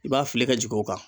I b'a fili ka jigin o kan